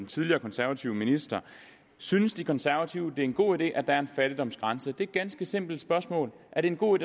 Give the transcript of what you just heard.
tidligere konservative minister synes de konservative det er en god idé at der er en fattigdomsgrænse det er et ganske simpelt spørgsmål er det en god